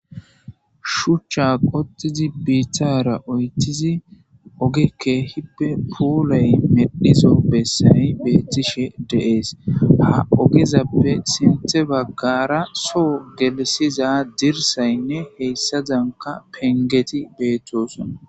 shuchcha qotizi biithara oytizi ogekke hippe puulay medhizo bessayi beettishe deees ha ogezappe sinthe baggara soo gelisiza dirsaynne heyssa zanka pengeti beettoson